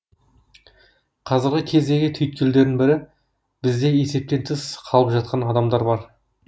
қазіргі кездегі түйткілдердің бірі бізде есептен тыс қалып жатқан адамдар бар